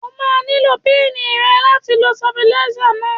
O máa nílò píìnì rẹ̀ láti lo stépìlà náà